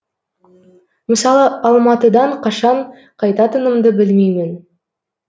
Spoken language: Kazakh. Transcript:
мысалы алматыдан қашан қайтатынымды білмеймін